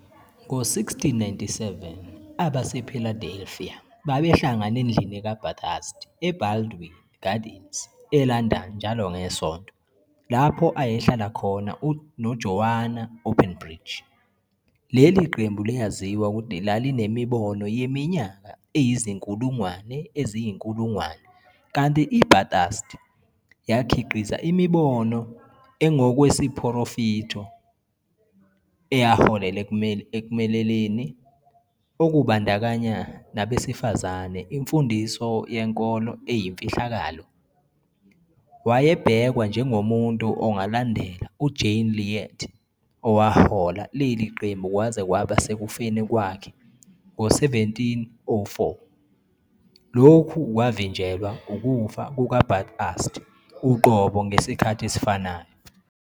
Ngo-1697, abasePhiladelfiya babehlangana endlini kaBathurst eBaldwin Gardens, eLondon njalo ngeSonto, lapho ayehlala khona noJoanna Openbridge. Leli qembu liyaziwa ukuthi lalinemibono yeminyaka eyizinkulungwane eziyinkulungwane, kanti iBathurst yakhiqiza imibono engokwesiprofetho eyaholela 'ekumeleleni, okubandakanya nabesifazane imfundiso yenkolo eyimfihlakalo'. Wayebhekwa njengomuntu ongalandela uJane Leade owahola leli qembu kwaze kwaba sekufeni kwakhe ngo-1704. Lokhu kwavinjelwa ukufa kukaBathurst uqobo ngesikhathi esifanayo.